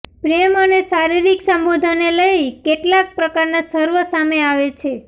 પ્રેમ અને શારીરિક સંબંધોને લઈ કેટલાક પ્રકારના સર્વે સામે આવે છે